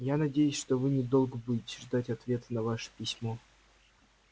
я надеюсь что вы недолго будете ждать ответа на ваше письмо